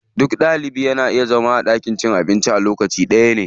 Duka Ɗalibai na iya zama a ɗakin cin abinci lokaci ɗaya.